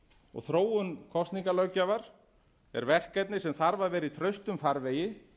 og þróun kosningalöggjafar er verkefni eru þarf að vera í traustum farvegi